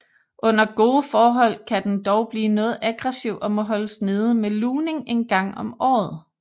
Under gode forhold kan den dog blive noget aggressiv og må holdes nede med lugning en gang om året